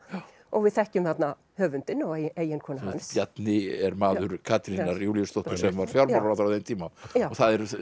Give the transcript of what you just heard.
og við þekkjum þarna höfundinn og eiginkonu hans Bjarni er maður Katrínar Júlíusdóttur sem var fjármálaráðherra á þeim tíma og það er